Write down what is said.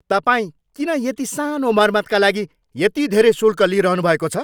तपाईँ किन यति सानो मर्मतका लागि यति धेरै शुल्क लिइरहनुभएको छ?